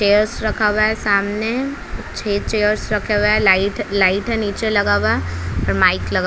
chairs रखा हुआ है सामने छह चेयर्स रखे हुए है लाइट लाइट है नीचे लगा हुआ है माइक लगा--